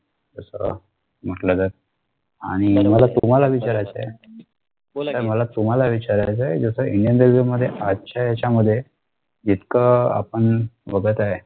तस म्हटलं तर आणि नयी मला तुम्हाला विचारायचा ए जस indian railway मध्ये आजच्या याच्यामध्ये जितकं आपण बघत आहे